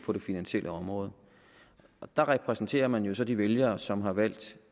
på det finansielle område der repræsenterer man jo så de vælgere som har valgt